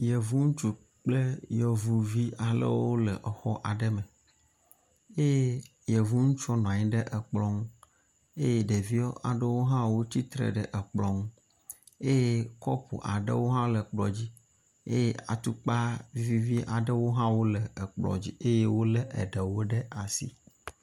Yevu ŋutsu kple yevuvi aɖewo le exɔ aɖe me eye yevu ŋutsua nɔ anyi ɖe ekplɔ ŋu eye ɖevi aɖewo tsitre ɖe ekplɔ ŋu eye kɔpuwo hã le ekplɔa dzi eye atukpa vivi aɖewo hã wole ekplɔ dzi eye wolé eɖewo ɖe asi.